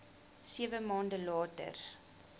sewe maande later